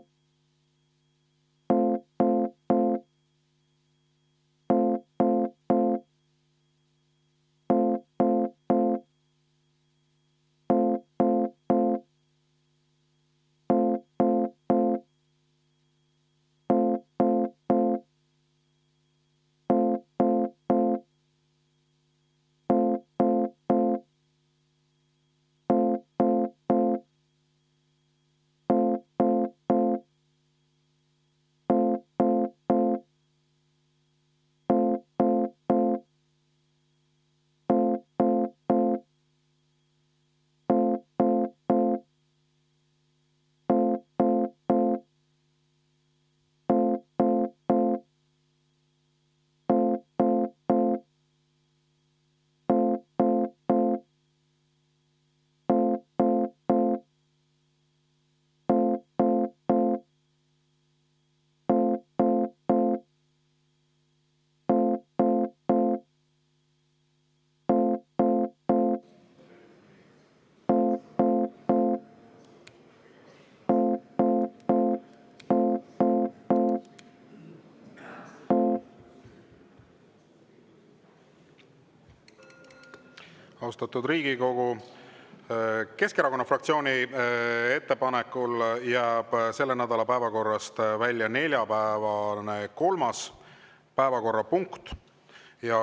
Austatud Riigikogu, Keskerakonna fraktsiooni ettepanekul jääb selle nädala päevakorrast välja neljapäevane kolmas päevakorrapunkt.